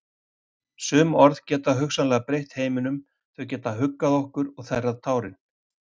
Sum orð geta hugsanlega breytt heiminum, þau geta huggað okkur og þerrað tárin.